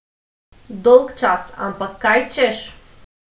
Dolgčas, ampak kaj češ!